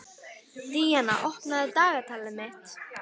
Díanna, opnaðu dagatalið mitt.